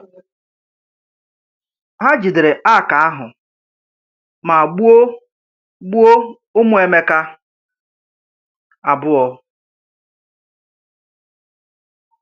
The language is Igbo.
Ha jidere Àrk ahụ ma gbuo gbuo ụmụ Emeka abụọ.